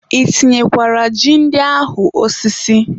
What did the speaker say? I tinyekwara ji ndị ahụ osisi?